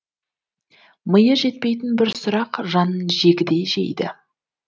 миы жетпейтін бір сұрақ жанын жегідей жейді